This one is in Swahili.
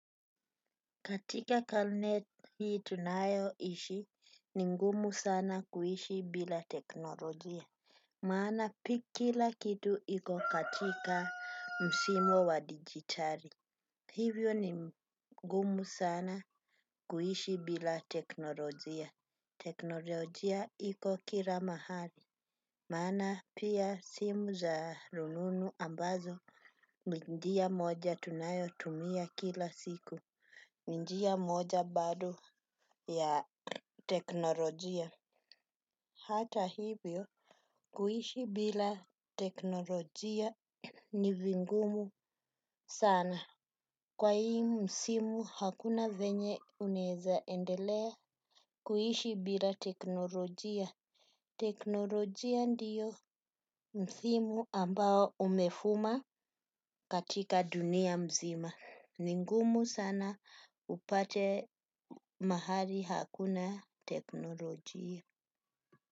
Katika karne hii tunayoishi ni ngumu sana kuishi bila teknolojia. Maana pika kila kitu iko katika msimwa wa digitali. Hivyo ni ngumu sana kuhishi bila teknolojia. Teknolojia iko kila mahali. Maana pia simu za rununu ambazo. Ni njia moja tunayotumia kila siku. Ni njia moja bado ya teknolojia. Hata hivyo, kuishi bila teknolojia ni vingumu sana. Kwa hii msimu, hakuna venye unaeza endelea kuishi bila teknolojia. Teknolojia ndiyo msimu ambao umefuma katika dunia nzima ni ngumu sana upate mahali hakuna teknolojia.